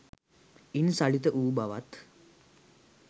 ඉන් සලිත වූ බවත්,